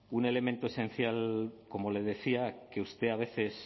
un elemento esencial como le decía que usted a veces